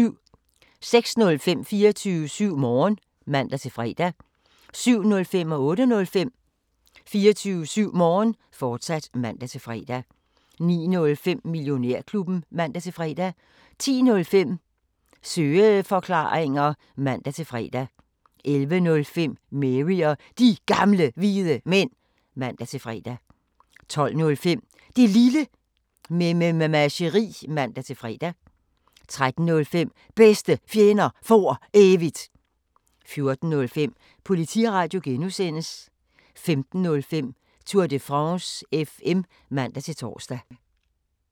06:05: 24syv Morgen (man-fre) 07:05: 24syv Morgen, fortsat (man-fre) 08:05: 24syv Morgen, fortsat (man-fre) 09:05: Millionærklubben (man-fre) 10:05: Søeforklaringer (man-fre) 11:05: Mary og De Gamle Hvide Mænd (man-fre) 12:05: Det Lille Mememageri (man-fre) 13:05: Bedste Fjender For Evigt 14:05: Politiradio (G) 15:05: Tour de France FM (man-tor)